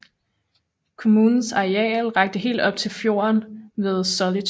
Kommunens areal rakte helt op til fjorden ved Solitude